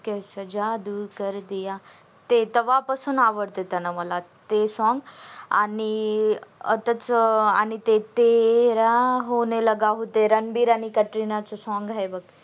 कैसा जादू कर दिया ते तवापासून आवडत मला ते song आणि आत्ताच आणि ते तेरा होने लगा हू ते रणबीर आणि कतरीना च song आहे बग